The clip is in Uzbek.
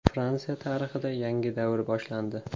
Fransiya tarixida yangi davr boshlandi.